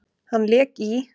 Hann lék í